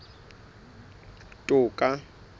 toka